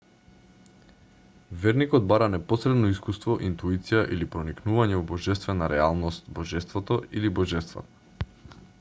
верникот бара непосредно искуство интуиција или проникнување во божествена реалност/божеството или божествата